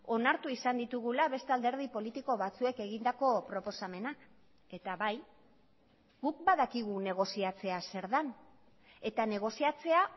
onartu izan ditugula beste alderdi politiko batzuek egindako proposamenak eta bai guk badakigu negoziatzea zer den eta negoziatzea